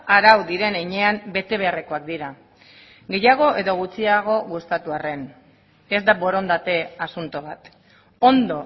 arau diren heinean bete beharrekoak dira gehiago edo gutxiago gustatu arren ez da borondate asunto bat ondo